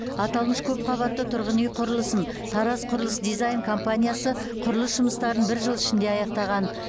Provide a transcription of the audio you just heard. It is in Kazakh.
аталмыш көпқабатты тұрғын үй құрылысын тараз құрылыс дизайн компаниясы құрылыс жұмыстарын бір жыл ішінде аяқтаған